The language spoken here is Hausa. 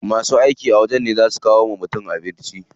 Masu aiki a wajen ne zaa su kawo wa mutum abinci.